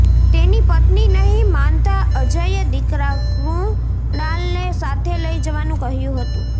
તેની પત્ની નહીં માનતા અજયે દીકરા કૃણાલને સાથે લઈ જવાનું કહ્યું હતું